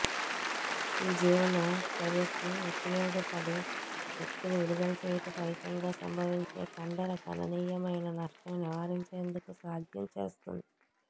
ఈ జీవన చర్యకు ఉపయోగపడు శక్తిని విడుదల చేయుట ఫలితంగా సంభవించే కండర గణనీయమైన నష్టం నివారించేందుకు సాధ్యం చేస్తుంది